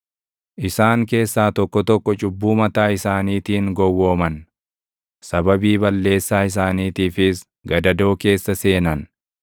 Isaan keessaa tokko tokko cubbuu mataa isaaniitiin gowwooman; sababii balleessaa isaaniitiifis gadadoo keessa seenan.